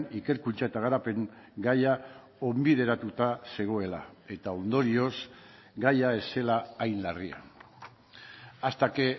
ikerkuntza eta garapen gaia onbideratuta zegoela eta ondorioz gaia ez zela hain larria hasta que